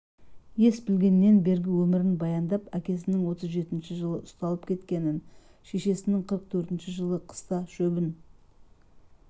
ес білгеннен бергі өмірін баяндап әкесінің отыз жетінші жылы ұсталып кеткенін шешесінің қырық төртінші жылы қыста шөбін